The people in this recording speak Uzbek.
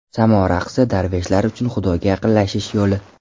Samo raqsi - darveshlar uchun Xudoga yaqinlashish yo‘li.